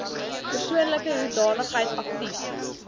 persoonlike hoedanigheid aktief